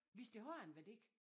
Hvis det har en værdi